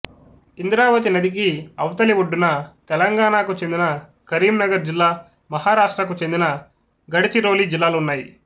ఇంద్రావతి నదికి అవతలి ఒడ్డున తెలంగాణకు చెందిన కరీంనగర్ జిల్లా మహారాష్ట్రకు చెందిన గఢచిరోలి జిల్లాలు ఉన్నాయి